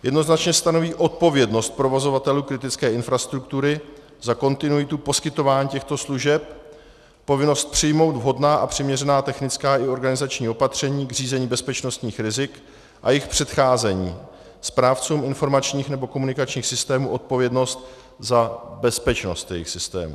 Jednoznačně stanoví odpovědnost provozovatelů kritické infrastruktury za kontinuitu poskytování těchto služeb, povinnost přijmout vhodná a přiměřená technická i organizační opatření k řízení bezpečnostních rizik a jejich předcházení, správcům informačních nebo komunikačních systémů odpovědnost za bezpečnost jejich systémů.